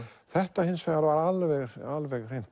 þetta hins vegar var alveg alveg